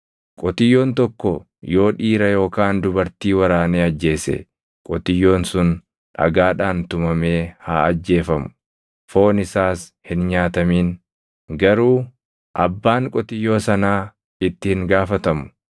“Qotiyyoon tokko yoo dhiira yookaan dubartii waraanee ajjeese qotiyyoon sun dhagaadhaan tumamee haa ajjeefamu; foon isaas hin nyaatamin. Garuu abbaan qotiyyoo sanaa itti hin gaafatamu.